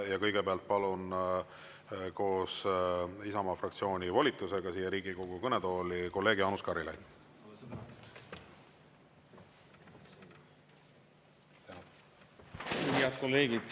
Ja kõigepealt palun koos Isamaa fraktsiooni volitusega siia Riigikogu kõnetooli kolleeg Jaanus Karilaidi.